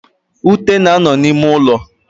Ute na-ano n'ime ulo.